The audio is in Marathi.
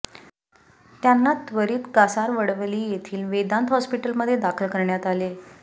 त्यांना त्वरित कासारवडवली येथील वेदांत हॉस्पिटलमध्ये दाखल करण्यात आले